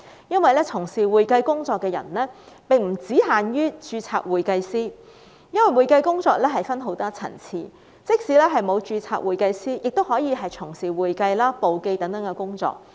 因為從事會計工作的並不限於註冊會計師，會計工作分很多層次，即使不是註冊會計師，亦可以從事會計、簿記等工作。